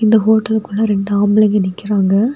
இந்த ஹோட்டலுக்குள்ள ரெண்டு ஆம்பளைங்க நிக்கிறாங்க.